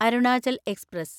Arunachal express